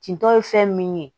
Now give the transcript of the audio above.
Kintɔ ye fɛn min ye